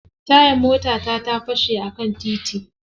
Tayar motata ta fashe a kan titi.